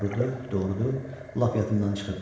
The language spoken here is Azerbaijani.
Doğrudur, doğrudur, lap yadımdan çıxıb.